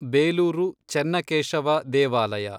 ಬೇಲೂರು ಚೆನ್ನಕೇಶವ ದೇವಾಲಯ